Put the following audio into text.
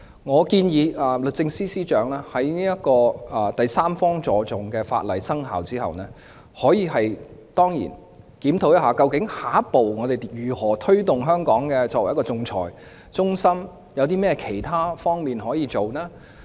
我建議律政司司長在第三方資助仲裁的法例生效後，可以檢討下一步如何推動香港作為仲裁中心的發展，有甚麼其他工作可以做？